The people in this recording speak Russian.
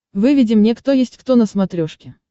выведи мне кто есть кто на смотрешке